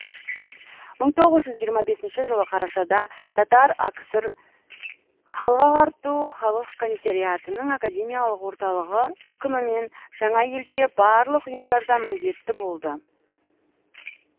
мың тоғыз жүз жиырма бесінші жылы қарашада татар акср халық ағарту халық комиссариатының академиялық орталығы үкімімен жаңа елде барлық ұйымдарда міндетті болды